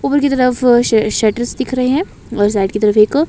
ऊपर की तरफ श शटर्स दिख रहे हैं और साइड की तरह एक--